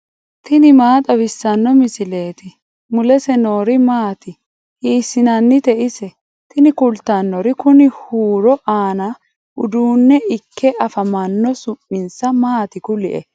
tini maa xawissanno misileeti ? mulese noori maati ? hiissinannite ise ? tini kultannori kuni huuro aanno uduunne ikke afamanno su'minsa maati kulie